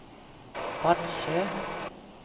Vadsø